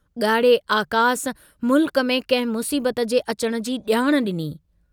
गाढ़े आकास मुल्क में कंहिं मुसीबत जे अचण जी जाण डिनी।